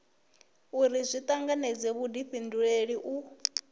uri zwi tanganedze vhudifhinduleli u